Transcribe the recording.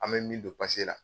An bɛ min don pase la